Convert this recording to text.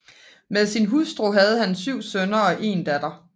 Med sin hustru havde han 7 sønner og 1 datter